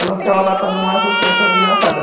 Ela ficava lá, estando mais, até achava engraçado.